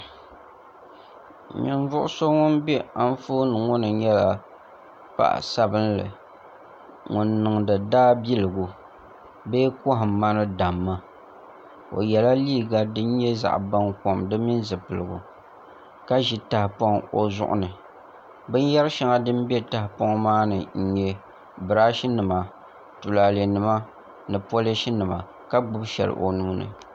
Ninvuɣu so ŋun bɛ Anfooni ŋo ni nyɛla paɣa sabinli ŋun niŋdi daabiligu bee kohamma ni damma o yɛla liiga din nyɛ zaɣ baŋkom di mini zipiligu ka ʒi tahapoŋ o zuɣu ni binyɛri shɛŋa din bɛ tahapoŋ maa ni n nyɛ birash nima ni tulaalɛ nima ka gbubi shɛli o nuuni